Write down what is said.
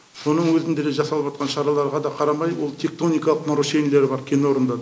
соның өзінде де жасалыватқан шараларға да қарамай ол тектоникалық нарушениелер бар кенорындар